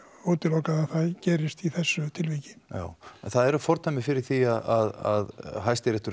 útilokað að það gerist í þessu tilviki það eru fordæmi fyrir því að Hæstiréttur